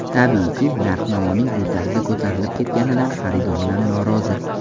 Tabiiyki, narx-navoning bu tarzda ko‘tarilib ketganidan xaridorlar norozi.